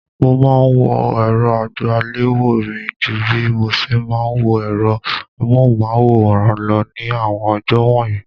Mo máa ńwo èrò àgbéléwò mi ju bí moṣe máa ń wo èrọ amóhùnmáwòrán lọ ní àwọn ọjọ́ wọ̀nyí.